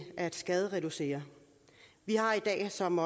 at skadereducere vi har i dag som